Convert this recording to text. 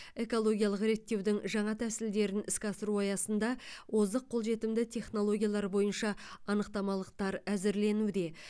экологиялық реттеудің жаңа тәсілдерін іске асыру аясында озық қолжетімді технологиялар бойынша анықтамалықтар әзірленуде